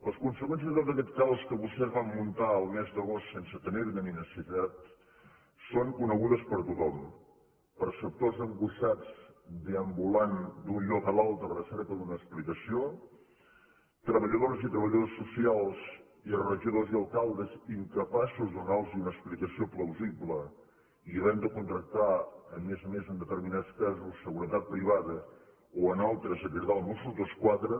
les conseqüències de tot aquest caos que vostès van muntar el mes d’agost sense tenir ne necessitat són conegudes per tothom per sectors angoixats deambulant d’un lloc a l’altre a la recerca d’una explicació treballadores i treballadors socials i regidors i alcaldes incapaços de donar los una explicació plausible i havent de contractar a més a més en determinats casos seguretat privada o en altres de cridar els mossos d’esquadra